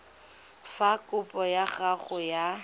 fa kopo ya gago ya